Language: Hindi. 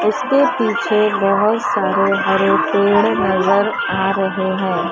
इसके पीछे बहोत सारे हरे पेड़ नज़र आ रहे हैं।